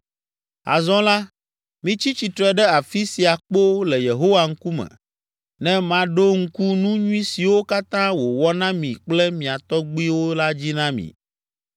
Azɔ la, mitsi tsitre ɖe afi sia kpoo le Yehowa ŋkume ne maɖo ŋku nu nyui siwo katã wòwɔ na mi kple mia tɔgbuiwo la dzi na mi.